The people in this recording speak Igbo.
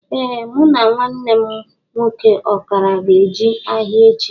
Ee mụ na nwanne mụ nwoke ọkara ga-eje ahia echi